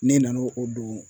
Ne nan'o o don